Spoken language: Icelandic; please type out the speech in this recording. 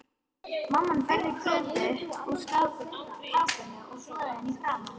Mamma færði Kötu úr kápunni og þvoði henni í framan.